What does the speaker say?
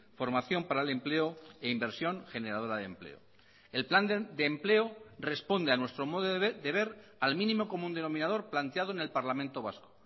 formación para el empleo e inversión generadora de empleo el plan de empleo responde a nuestro modo de ver al mínimo común denominador planteado en el parlamento vasco